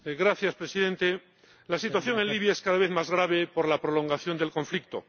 Señor Presidente, la situación en Libia es cada vez más grave por la prolongación del conflicto.